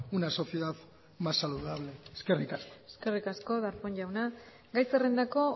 una sociedad más saludable eskerrik asko eskerrik asko darpón jauna gai zerrendako